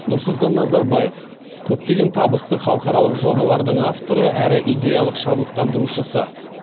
нұрсұлтан назарбаев көптеген табысты халықаралық жобалардың авторы әрі идеялық шабыттандырушысы